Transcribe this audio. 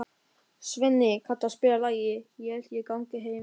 Svenni, kanntu að spila lagið „Ég held ég gangi heim“?